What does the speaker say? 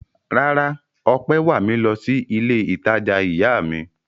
Rárá, Ọpẹ́ wà mí lọ sí ilé-ìtajà ìyá mi.